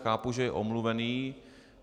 Chápu, že je omluven.